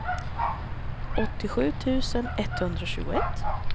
åttiosju tusen etthundratjugoett